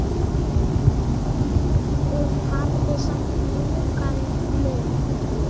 Hún hafði samt mjúkan munn.